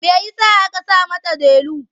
Me ya sa aka saka mata Delu?